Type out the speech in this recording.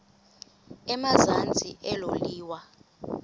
emazantsi elo liwa